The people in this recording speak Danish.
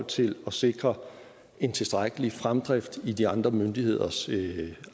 til at sikre en tilstrækkelig fremdrift i de andre myndigheders